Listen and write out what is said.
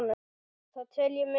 Það tel ég miður.